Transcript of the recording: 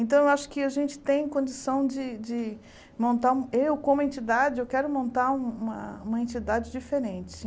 Então, eu acho que a gente tem condição de de montar, eu como entidade, eu quero montar uma entidade diferente.